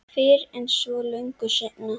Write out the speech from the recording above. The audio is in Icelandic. Fyrr en svo löngu seinna.